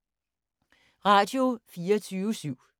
Radio24syv